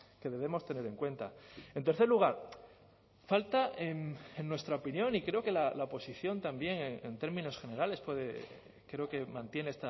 que debemos tener en cuenta en tercer lugar falta en nuestra opinión y creo que la oposición también en términos generales puede creo que mantiene